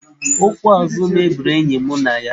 Okwu azụ mebiri enyi mụ na ya.